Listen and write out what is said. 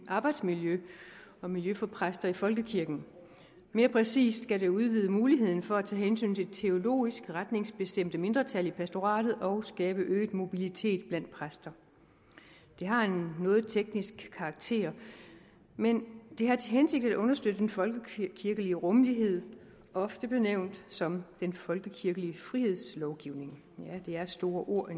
arbejdsmiljø og miljø for præster i folkekirken mere præcis skal det udvide muligheden for at tage hensyn til teologisk retningsbestemte mindretal i pastoratet og skabe øget mobilitet blandt præster det har en noget teknisk karakter men det har til hensigt at understøtte den folkekirkelige rummelighed ofte benævnt som den folkekirkelige frihedslovgivning ja det er store ord